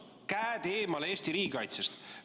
Käed eemale Eesti riigikaitsest!